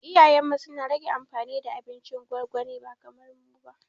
Iyayenmu suna rage amfani da abincin gwangwani ba kamar mu ba